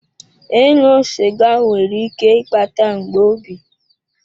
Ịṅụ sịga nwere ike ịkpata mgbu obi.